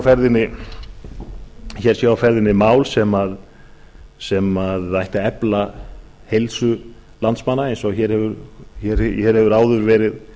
að hér sé á ferðinni mál sem ætti að efla heilsu landsmanna eins og hér hefur áður verið